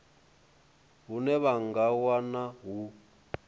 hune vha nga wana hu